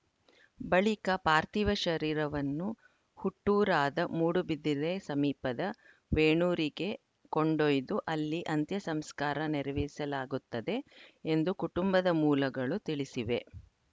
ಬಳಿಕ ಪಾರ್ಥಿವ ಶರೀರವನ್ನು ಹುಟ್ಟೂರಾದ ಮೂಡುಬಿದಿರೆ ಸಮೀಪದ ವೇಣೂರಿಗೆ ಕೊಂಡೊಯ್ದು ಅಲ್ಲಿ ಅಂತ್ಯಸಂಸ್ಕಾರ ನೆರವೇರಿಸಲಾಗುತ್ತದೆ ಎಂದು ಕುಟುಂಬದ ಮೂಲಗಳು ತಿಳಿಸಿವೆ